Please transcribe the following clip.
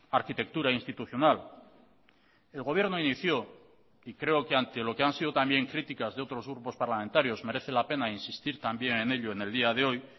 arquitectura institucional el gobierno inició y creo que ante lo que han sido también críticas de otros grupos parlamentarios merece la pena insistir también en ello en el día de hoy